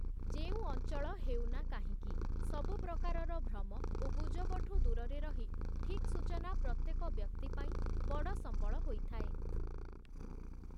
ଯେଉଁ ଅଂଚଳ ହେଉନା କାହିଁକି, ସବୁ ପ୍ରକାରର ଭ୍ରମ ଓ ଗୁଜବଠୁ ଦୂରରେ ରହି ଠିକ୍ ସୂଚନା ପ୍ରତ୍ୟେକ ବ୍ୟକ୍ତି ପାଇଁ ବଡ଼ ସମ୍ବଳ ହୋଇଥାଏ ।